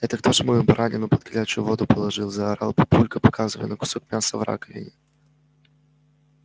это кто же мою баранину под горячую воду положил заорал папулька показывая на кусок мяса в раковине